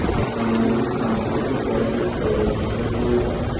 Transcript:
Afsonaviy bankrotlik yoki foydasiz ayfonlar.